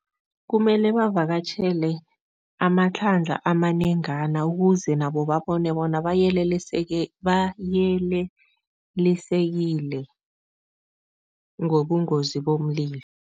Kumele bavakatjhele amahlandla amanengena ukuze nabo babone bona bayelelisekile ngobungozi bomlilo.